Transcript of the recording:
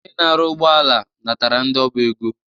Onye na-arụ ụgbọala natara ndi o bu ego.